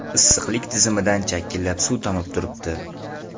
Issiqlik tizimidan chakillab suv tomib yotibdi.